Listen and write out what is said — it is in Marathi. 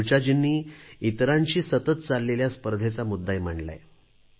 ऋचाजींनी इतरांशी सतत चाललेल्या स्पर्धेचा मुद्दाही मांडला आहे